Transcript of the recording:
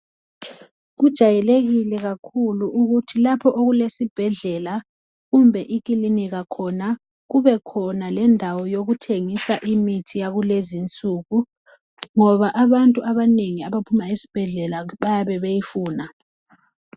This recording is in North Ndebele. Kujayelekile kakhulu ukuthi lapho okulesibhedlela kumbe ikilinika khona kube khona lendawo yokuthengisa imithi yakulezinsuku ngoba abantu abanengi abaphuma esibhedlela bayabe beyifuna .